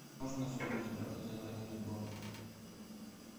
можно на сегодня забронировать боулинг